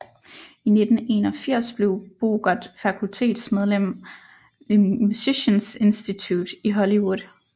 I 1981 blev Bogert fakultetsmedlem ved Musicians Institute i Hollywood